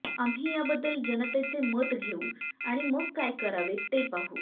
आम्ही याबद्दल जनतेचे मत घेऊ आणि मग काय करावे ते पाहू